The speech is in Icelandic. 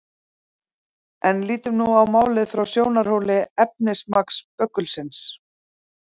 En lítum nú á málið frá sjónarhóli efnismagns böggulsins.